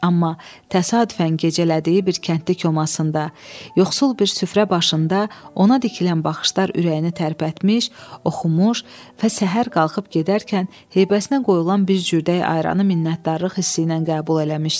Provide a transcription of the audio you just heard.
Amma təsadüfən gecələdiyi bir kəndli komasında, yoxsul bir süfrə başında ona dikilən baxışlar ürəyini tərpətmiş, oxumuş və səhər qalxıb gedərkən heybəsinə qoyulan bir cürdə ayranı minnətdarlıq hissi ilə qəbul eləmişdi.